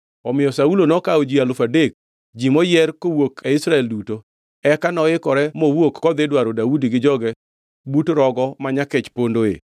Omiyo Saulo nokawo ji alufu adek; ji moyier kowuok e Israel duto, eka noikore mowuok kodhi dwaro Daudi gi joge but Rogo ma Nyakech pondoe.